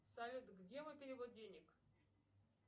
салют где мой перевод денег